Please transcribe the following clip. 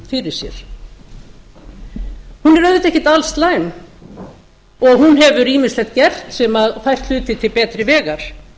auðvitað ekki alslæm og hún hefur ýmislegt gert sem hefur fært hluti til betri vegar